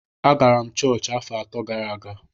Agara m chọọchị afọ atọ gara aga